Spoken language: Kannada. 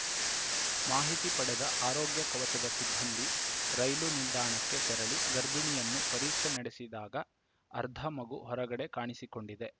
ಮಾಹಿತಿ ಪಡೆದ ಆರೋಗ್ಯ ಕವಚದ ಸಿಬ್ಬಂದಿ ರೈಲು ನಿಲ್ದಾಣಕ್ಕೆ ತೆರಳಿ ಗರ್ಭಿಣಿಯನ್ನು ಪರೀಕ್ಷೆ ನಡೆಸಿದಾಗ ಅರ್ಧ ಮಗು ಹೊರಗಡೆ ಕಾಣಿಸಿಕೊಂಡಿದೆ